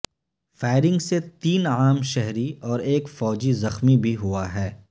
firing سے تین عام شہری اور ایک فوجی زخمی بھی ہوا ہے